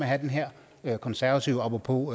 have den her her konservative apropos